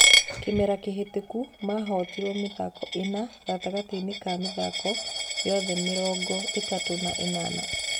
Kĩmera kĩhĩtũku mahotirwo mĩthako ĩna gatagatĩ ga mĩthako yothe mĩrongo ĩtatũ na ĩnana.